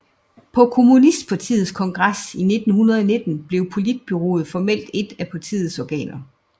På kommunistpartiets kongres i 1919 blev politbureauet formelt et af partiets organer